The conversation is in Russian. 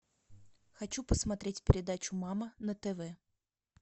хочу посмотреть передачу мама на тв